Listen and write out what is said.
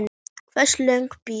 Hversu löng bið?